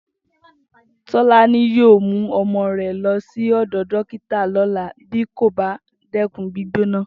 Tó̩lání yóò mú o̩mo̩ rè̩ lo̩ sí ò̩dò̩ dókítà ló̩la bí kò bá dé̩kun gbígbóná